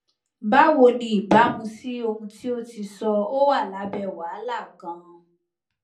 bawo ni ibamu si ohun ti o ti sọ o wa labe wahala ganan